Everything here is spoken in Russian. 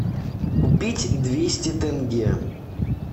купить двести тенге